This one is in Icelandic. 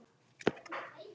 Íbúðin var læst.